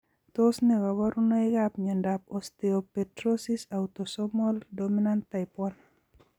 Tos ne kaborunoikap miondop osteopetrosis autosomal dominant type 1?